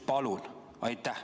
Palun!